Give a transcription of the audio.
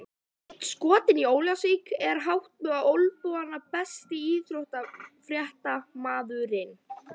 Einn skotinn í Ólafsvík er hátt með olnbogana Besti íþróttafréttamaðurinn?